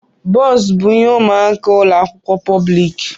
Bọns bụ ihe ụmụaka ụlọ akwụkwọ pọblik.